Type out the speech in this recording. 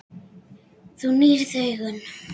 Þú nýrð augun.